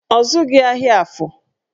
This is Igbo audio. Ọ zụghị ahịa Afọ